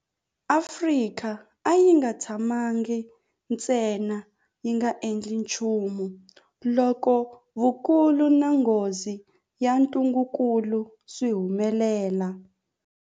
Afrika a yi nga tshamangi ntsena yi nga endli nchumu loko vukulu na nghozi ya ntungukulu swi humelela.